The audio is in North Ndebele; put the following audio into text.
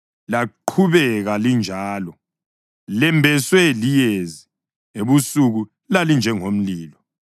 Laqhubeka linjalo; lembeswe liyezi, ebusuku lalinjengomlilo.